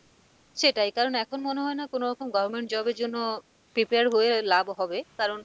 সেটাই কারন এখন মনে হয় না কোনোরকম government job এর জন্য prepare হয়ে লাভ হবে কারণ,